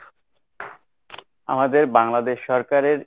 আমাদের বাংলাদেশ সরকারের